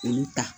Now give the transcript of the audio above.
K'olu ta